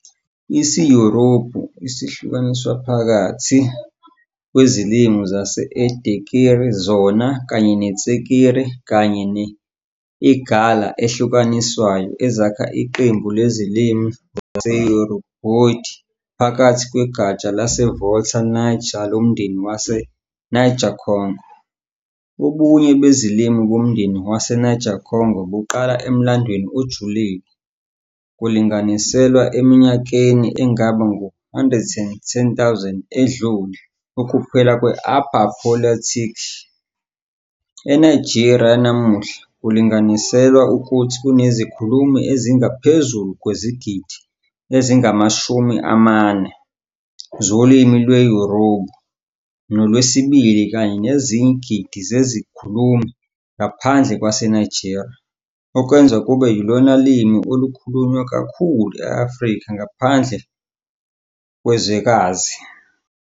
IsiYoruba sihlukaniswa phakathi kwezilimi zase-Edekiri, zona kanye ne- Itsekiri kanye ne- Igala ehlukanisayo ezakha iqembu lezilimi zaseYoruboid ngaphakathi kwegatsha laseVolta - Niger lomndeni waseNiger-Congo. Ubunye bezilimi bomndeni waseNiger -Congo buqala emlandweni ojulile, kulinganiselwa eminyakeni engaba ngu-11000 edlule, ukuphela kwe- Upper Paleolithic. ENigeria yanamuhla, kulinganiselwa ukuthi kunezikhulumi ezingaphezulu kwezigidi ezingama-40 zolimi lwesiYoruba nolwesibili kanye nezinye izigidi zezikhulumi ngaphandle kwaseNigeria, okwenza kube yilona limi olukhulunywa kakhulu e-Afrika ngaphandle kwezwekazi.